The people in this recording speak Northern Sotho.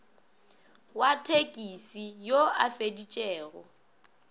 wa thekisi yo a feditšego